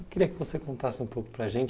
Eu queria que você contasse um pouco para a gente.